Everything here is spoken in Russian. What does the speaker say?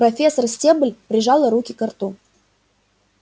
профессор стебль прижала руки ко рту